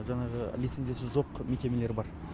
жаңағы лицензиясы жоқ мекемелер бар